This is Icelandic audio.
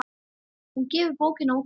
Hún gefur bókina út sjálf.